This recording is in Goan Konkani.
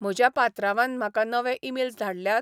म्हज्या पात्रांवान म्हाका नवे ईमेल्स धाडल्यात?